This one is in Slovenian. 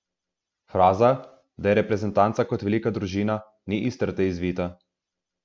Fraza, da je reprezentanca kot velika družina, ni iz trte izvita.